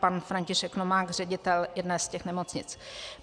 Pan František Novák, ředitel jedné z těch nemocnic.